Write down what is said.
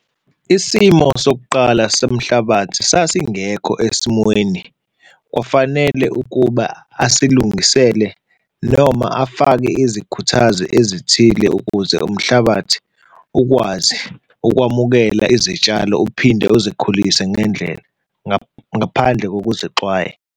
Isimo sokuqala somhlabathi sasingekho esimweni, kwafanele ukuba asilungisele noma afake izikhuthazi ezithile ukuze umhlabathi ukwazi ukwamukela izitshalo, uphinde uzikhulise ngendlela, ngaphandle kokuzexwaya.